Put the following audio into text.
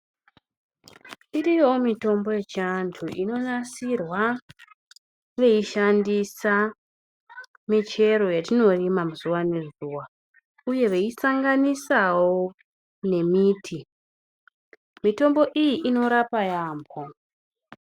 Iriyowo mitombo yechiantu inonasirwa veishandisa michero yetinorima muzuva nezuva uye veisanganisawo nemiti mitombo iyi inorapa yaambo.